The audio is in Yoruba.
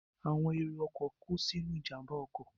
Àwọn èrò ọkọ̀ kú sínú ìjàmbá ọkọ̀